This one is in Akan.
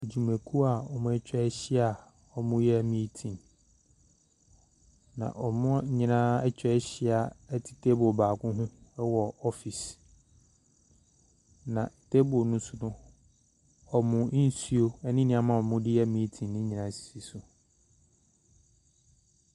Adwumakuo a wɔatwahyia a wɔreyɛ meeting. Na wɔn nyinaa ɛtwahyia te table baako ho ɛwɔ office. Na table no so no wɔn nsuo ɛne nnoɔma a ɔdeyɛ meeting no nyinaa si so.